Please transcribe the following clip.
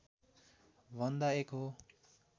भन्दा एक हो